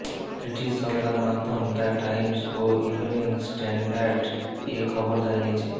British সংবাদমাধ্যম the Times ও Evening Standard এ খবর জানিয়েছে